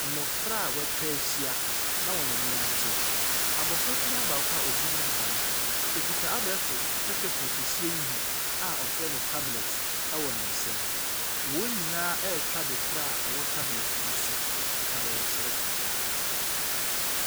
Mmɔfra a wɔatwa ahyia na wɔn ani agye. Abɔfra kumaa baako a ɔgyina anim no, ɔkita abɛɛfo tɛtɛfoon kɛseɛ yi bi a wɔfrɛ no tablet wɔ ne nsam. Wɔn nyinaa rehwɛ adekorɔ ɛwɔ tablet yi so, na wɔresere.